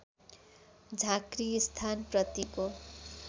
झाँक्री स्थान प्रतिको